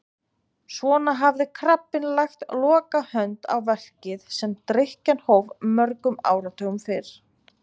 Svona hafði krabbinn lagt lokahönd á verkið sem drykkjan hóf mörgum áratugum fyrr.